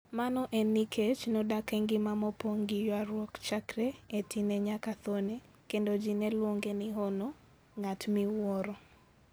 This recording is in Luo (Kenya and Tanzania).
Mano en nikech nodak e ngima mopong' gi ywaruok chakre e tinne nyaka thone, kendo ji ne luonge ni 'Hono' (ng'at miwuoro).